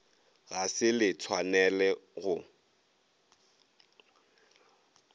ga se le tshwanele go